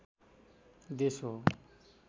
देश हो